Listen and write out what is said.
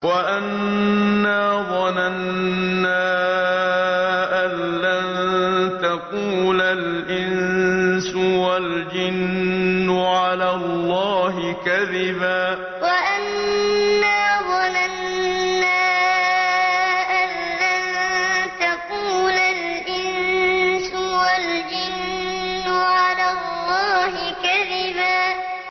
وَأَنَّا ظَنَنَّا أَن لَّن تَقُولَ الْإِنسُ وَالْجِنُّ عَلَى اللَّهِ كَذِبًا وَأَنَّا ظَنَنَّا أَن لَّن تَقُولَ الْإِنسُ وَالْجِنُّ عَلَى اللَّهِ كَذِبًا